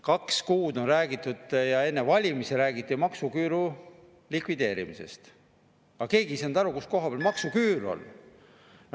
Kaks kuud on räägitud ja enne valimisi räägiti maksuküüru likvideerimisest, aga keegi ei saanud aru, kus koha peal maksuküür on.